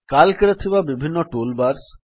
Writer ରେ ଥିବା ବିଭିନ୍ନ ଟୁଲ୍ ବାର୍ସ